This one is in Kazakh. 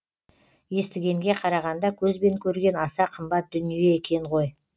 естігенге қарағанда көзбен көрген аса қымбат дүние екен ғой